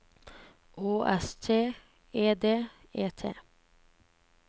Å S T E D E T